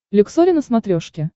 люксори на смотрешке